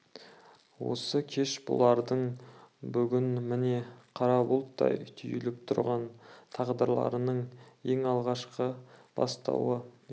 осы кеш бұлардың бүгін міне қара бұлттай түйіліп тұрған тағдырының ең алғашқы бастауы еді